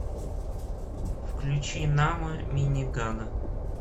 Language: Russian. включи намо минигана